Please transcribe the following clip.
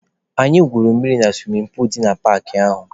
Anyị gwuru mmiri na suwimin puulu dị na paakị ahụ.